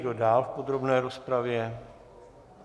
Kdo dál v podrobné rozpravě?